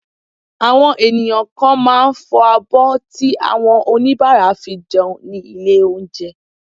Àwọn ènìyàn kan máà ń fọ abọ́ tí àwọn oníbàárà fi jẹun ní ilé oúnjẹ.